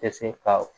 Tɛ se ka